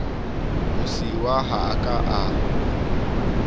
mosiuwa ha a ka a